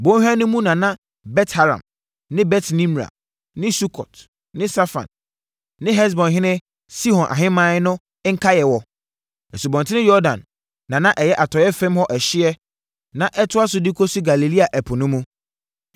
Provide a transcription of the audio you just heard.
Bɔnhwa no mu na na Bet-Haram ne Bet-Nimra ne Sukot ne Safon ne Hesbonhene Sihon ahemman no nkaeɛ wɔ; Asubɔnten Yordan na na ɛyɛ atɔeɛ fam hɔ ɛhyeɛ na ɛtoa so de kɔsi Galilea ɛpo no mu.